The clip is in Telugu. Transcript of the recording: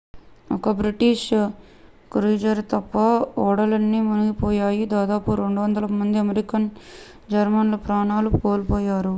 ఒక్క బ్రిటిష్ క్రూయిజర్ తప్ప ఓడలన్నీ మునిగిపోయాయి దాదాపు 200 మంది అమెరికన్ జర్మన్ ప్రాణాలు కోల్పోయారు